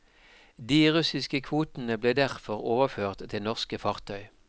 De russiske kvotene ble derfor overført til norske fartøy.